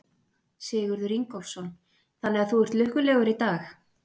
Sigurður Ingólfsson: Þannig að þú ert lukkulegur í dag?